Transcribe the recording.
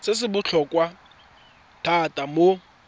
se se botlhokwa thata mo